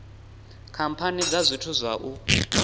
khamphani dza zwithu zwa u